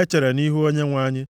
echere nʼihu Onyenwe anyị.